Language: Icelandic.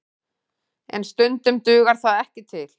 En stundum dugar það ekki til